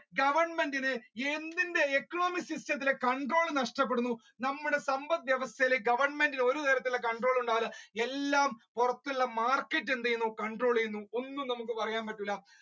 ഗോവെർന്മെറ്റിന് എന്തിന്റെ economic system ത്തിലെ നഷ്ടപ്പെടുന്നു നമ്മുടെ സമ്പത് വ്യവസ്ഥയിൽ ഗോവെർന്മെറ്റിന് ഒരു തരത്തിലുള്ള control ഉണ്ടാവില്ല എല്ലാം പുറത്തുള്ള market എന്ത് ചെയ്യുന്നു control ചെയ്യുന്നു ഒന്നും നമ്മുക്ക് പറയാൻ പറ്റില്ലാ